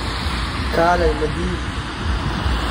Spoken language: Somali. kaalay ma tidhi?